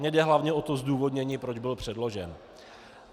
Mně jde hlavně o to zdůvodnění, proč byl předložen.